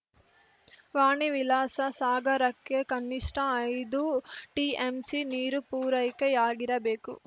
ವಾಣಿ ವಿಲಾಸ ಸಾಗರಕ್ಕೆ ಕನಿಷ್ಠ ಐದು ಟಿಎಂಸಿ ನೀರು ಪೂರೈಕೆಯಾಗಿರಬೇಕು